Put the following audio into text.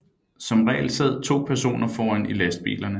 Som regel sad to personer foran i lastbilerne